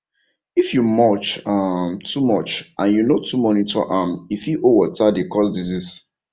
if you mulch um too much and you no too monitor am e fit hold water dey cause disease